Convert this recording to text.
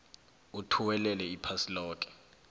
othuwelela iphasi loke